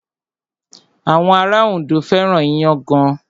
Àwọn ará Ondo fẹ́ràn iyán gan.